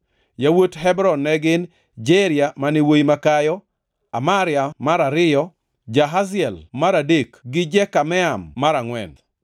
Yawuot Hebron ne gin: Jeria mane wuowi makayo, Amaria mar ariyo, Jahaziel mar adek gi Jekameam mar angʼwen.